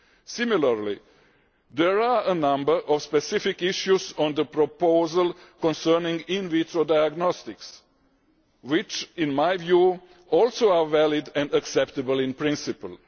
Similarly, there are a number of specific issues on the proposal concerning in vitro diagnostics which, in my view, are also valid and acceptable in principle.